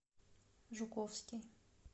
жуковский